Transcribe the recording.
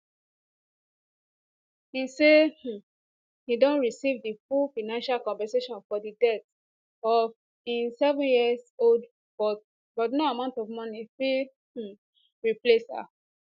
im say um im don receive di full financial compensation for di death of im sevenyearold but but no amount of money fit um replace her